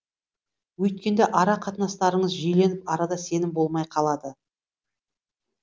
өйткенде ара қатынастарыңыз жиіленіп арада сенім болмай қалады